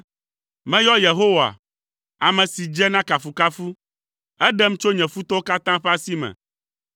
Meyɔ Yehowa, ame si dze na kafukafu, eɖem tso nye futɔwo katã ƒe asi me.